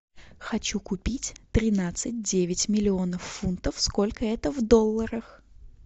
хочу купить тринадцать девять миллионов фунтов сколько это в долларах